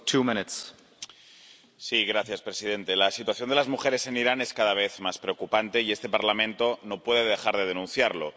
Señor presidente, la situación de las mujeres en Irán es cada vez más preocupante y este Parlamento no puede dejar de denunciarlo.